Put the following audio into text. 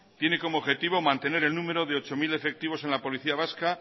tiene como objetivo mantener el número de ocho mil efectivos en la policía vasca